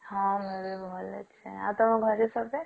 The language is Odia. ହଁ ମୁଁ ବି ଭଲ ଅଛି ଆଉ ତମ ଘରେ ସବେ?